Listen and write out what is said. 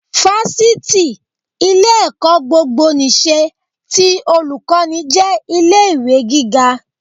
Fáṣítì, ilé-ẹ̀kọ́ gbogbo ìṣe, ti Olùkọ́ní, jẹ́ ilé ìwé gíga